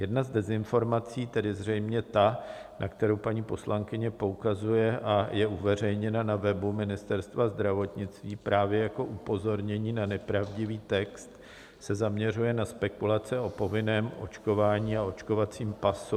Jedna z dezinformací, tedy zřejmě ta, na kterou paní poslankyně poukazuje a je uveřejněna na webu Ministerstva zdravotnictví právě jako upozornění na nepravdivý text, se zaměřuje na spekulace o povinném očkování a očkovacím pasu.